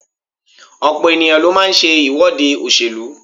Ọ̀pọ̀ ènìyàn ló máa ń ṣe ìwọ́de òṣèlú.